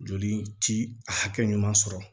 Joli ti a hakɛ ɲuman sɔrɔ